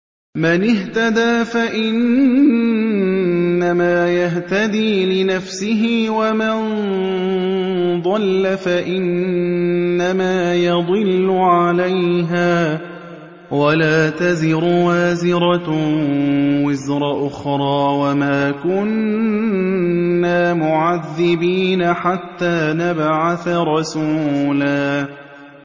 مَّنِ اهْتَدَىٰ فَإِنَّمَا يَهْتَدِي لِنَفْسِهِ ۖ وَمَن ضَلَّ فَإِنَّمَا يَضِلُّ عَلَيْهَا ۚ وَلَا تَزِرُ وَازِرَةٌ وِزْرَ أُخْرَىٰ ۗ وَمَا كُنَّا مُعَذِّبِينَ حَتَّىٰ نَبْعَثَ رَسُولًا